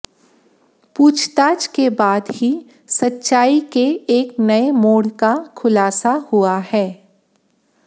पूछताछ के बाद ही सच्चाई के एक नये मोड़ का खुलासा हुआ है